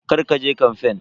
Kar ka je kamfen.